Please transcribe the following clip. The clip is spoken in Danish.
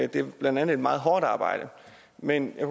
det er blandt andet et meget hårdt arbejde men jeg